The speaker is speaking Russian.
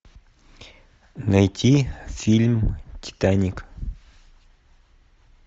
найти фильм титаник